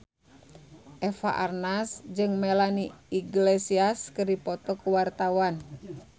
Eva Arnaz jeung Melanie Iglesias keur dipoto ku wartawan